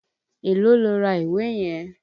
Èló lo ra ìwé yẹn?